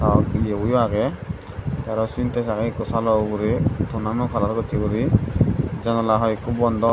ah yeboyo agey tey aro sintes agey salo ugurey tonano kalar gossey guri janala hoiekko bondaw.